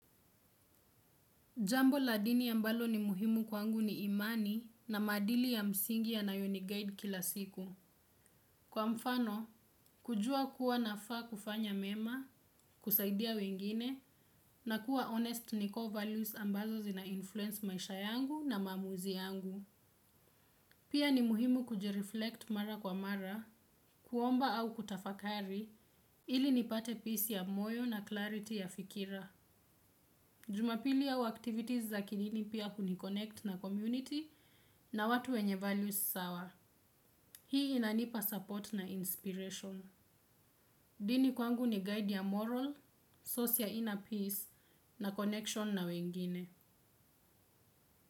Jambo la dini ambalo ni muhimu kwangu ni imani na maadili ya msingi yanayo ni guide kila siku. Kwa mfano, kujua kuwa nafaa kufanya mema, kusaidia wengine na kuwa honest na core values ambazo zina influence maisha yangu na maamuzi yangu. Pia ni muhimu kujireflect mara kwa mara, kuomba au kutafakari, ili nipate peace ya moyo na clarity ya fikira. Jumapili au activities za kidini pia hunikonnect na community na watu wenye values sawa. Hii inanipa support na inspiration. Dini kwangu ni guide ya moral, source ya inner peace na connection na wengine.